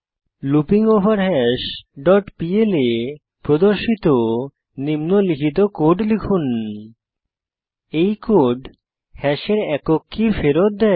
লুপিঙ্গভারহাস dot PL এ প্রদর্শিত নিম্নলিখিত কোড লিখুন এই কোড হ্যাশের একক কী ফেরত দেয়